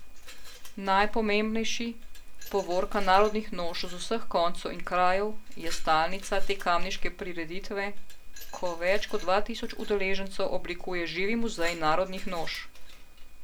Najpomembnejši, povorka narodnih noš z vseh koncev in krajev, je stalnica te kamniške prireditve, ko več kot dva tisoč udeležencev oblikuje živi muzej narodnih noš.